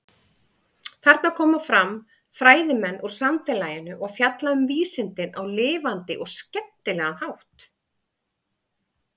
Þarna koma fram fræðimenn úr samfélaginu og fjalla um vísindin á lifandi og skemmtilega hátt.